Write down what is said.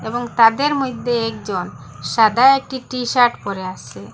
এবং তাদের মইধ্যে একজন সাদা একটি টি-শার্ট পড়ে আছে।